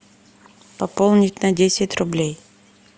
пополнить на десять рублей